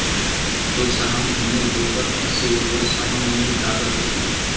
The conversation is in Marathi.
तो सहा महिने झोपत असे व सहा महिने जागत असे.